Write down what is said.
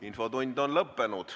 Infotund on lõppenud.